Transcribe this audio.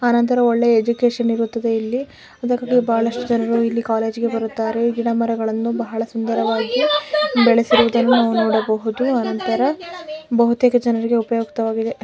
ಆನಂತರ ಹೊಳ್ಳೆ ಎಜುಕೇಶನ್ ಇರುತ್ತದೆ ಇಲ್ಲಿ ಅದಕ್ಕಾಗಿ ಬಹಳಷ್ಟು ಜನರು ಇಲ್ಲಿ ಕಾಲೇಜಿಗೆ ಬರುತ್ತಾರೆ ಗಿಡ ಮರಗಳನ್ನು ಬಹಳ ಸುಂದರವಾಗಿ ಬೆಳೆಸಿರುವುದನ್ನು ನಾವು ನೋಡಬಹುದು ಆನಂತರ ಬಹುತೇಕ ಜನರಿಗೆ ಉಪಯುಕ್ತವಾಗಿದೆ.